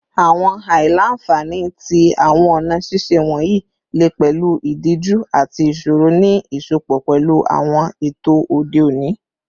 Awọn aila-nfani ti awọn ọna ṣiṣe wọnyi le pẹlu idiju ati iṣoro ni iṣọpọ pẹlu awọn eto ode oni